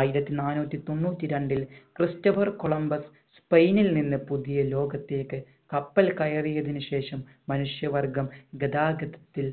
ആയിരത്തി നാനൂറ്റി തൊണ്ണൂറ്റി രണ്ടിൽ ക്രിസ്റ്റഫർ കൊളംബസ് സ്പെയിനിൽ നിന്ന് പുതിയലോകത്തേക്ക് കപ്പൽ കയറിയതിനു ശേഷം മനുഷ്യ വർഗം ഗതാഗതത്തിൽ